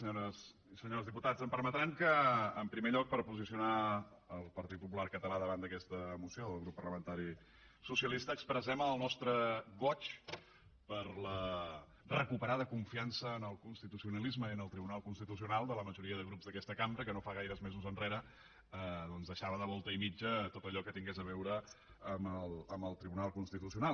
senyores i senyors diputats em permetran que en primer lloc per posicionar el partit popular català davant d’aquesta moció del grup parlamentari socialista expressem el nostre goig per la recuperada confiança en el constitucionalisme i en el tribunal constitucional de la majoria de grups d’aquesta cambra que no fa gaires mesos enrere doncs deixava de volta i mitja tot allò que tingués a veure amb el tribunal constitucional